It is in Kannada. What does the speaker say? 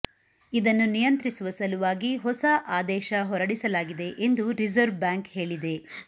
ಇದನ್ನು ನಿಯಂತ್ರಿಸುವ ಸಲುವಾಗಿ ಹೊಸ ಅದೇಶ ಹೊರಡಿಸಲಾಗಿದೆ ಎಂದು ರಿಸರ್ವ್ ಬ್ಯಾಂಕ್ ಹೇಳಿದೆ